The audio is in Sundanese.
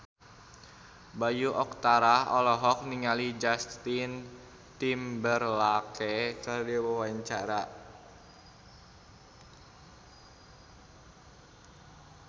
Bayu Octara olohok ningali Justin Timberlake keur diwawancara